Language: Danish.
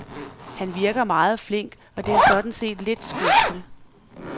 Han virker meget flink, og det er sådan set lidt skuffende.